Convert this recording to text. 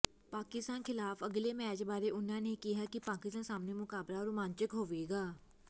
ਪਾਕਿਸਤਾਨ ਖ਼ਿਲਾਫ਼ ਅਗਲੇ ਮੈਚ ਬਾਰੇ ਉਨ੍ਹਾਂ ਨੇ ਕਿਹਾ ਕਿ ਪਾਕਿਸਤਾਨ ਸਾਹਮਣੇ ਮੁਕਾਬਲਾ ਰੋਮਾਂਚਕ ਹੋਵੇਗਾ